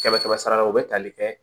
Kɛmɛ kɛmɛ sarala o bɛ tali kɛ